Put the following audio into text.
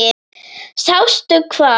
Sástu hvað?